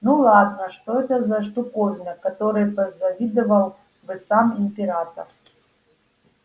ну да ладно что это за штуковина которой позавидовал бы сам император